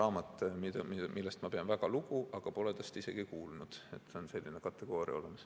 On raamat, millest ma pean väga lugu, aga pole tast isegi kuulnud – selline kategooria on olemas.